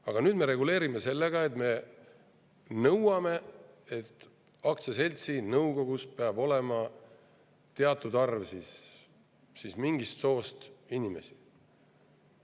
Aga nüüd me reguleerime ja nõuame, et aktsiaseltsi nõukogus peab olema teatud arv mingist soost inimesi.